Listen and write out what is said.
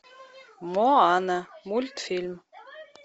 моана мультфильм